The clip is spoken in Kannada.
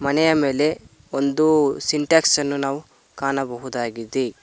ಮನೆಯ ಮೇಲೆ ಒಂದು ಸಿನಟಸ್ಕನ್ನು ಅನ್ನು ನಾವು ಕಾಣಬಹುದಾಗಿದೆ.